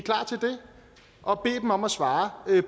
og bed dem om at svare